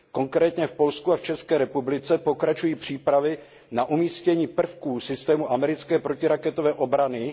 Konkrétně v Polsku a v České republice pokračují přípravy na umístění prvků systému americké protiraketové obrany.